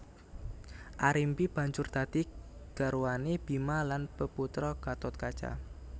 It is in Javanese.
Arimbi banjur dadi garwané Bima lan peputra Gathotkaca